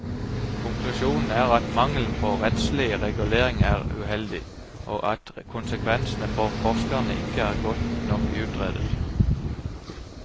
Konklusjonen er at mangelen på rettslig regulering er uheldig, og at konsekvensene for forskerne ikke er godt nok utredet.